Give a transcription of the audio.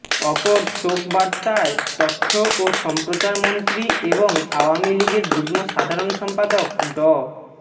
অপর শোক বার্তায় তথ্য ও সম্প্রচারমন্ত্রী এবং আওয়ামী লীগের যুগ্ম সাধারণ সম্পাদক ড